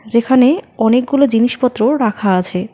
যেখানে অনেকগুলো জিনিসপত্র রাখা আছে।